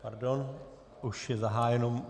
Pardon, už je zahájeno.